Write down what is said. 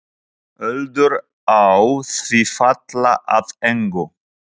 Öldur á því falla að engu.